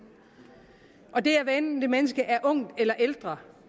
og det er hvad enten det menneske er ungt eller ældre